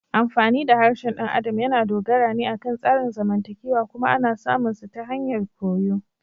Amfani da harshen ɗan adam yana dogara ne akan tsarin zamantakewa kuma ana samun su ta hanyar koyo.